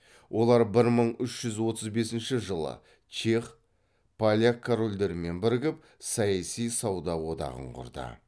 олар бір мың үш жүз отыз бесінші жылы чех поляк корольдерімен бірігіп саяси сауда одағын құрды